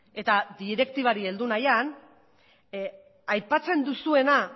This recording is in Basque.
eta direktibari heldu nahian aipatzen duzuena